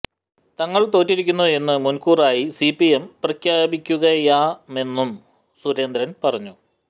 തങ്ങള് തോറ്റിരിക്കുന്നു എന്ന് മുന്കൂര് ആയി സിപിഎം പ്രഖ്യാപിക്കുകയാമെന്നും സുരേന്ദ്രന് പറഞ്ഞു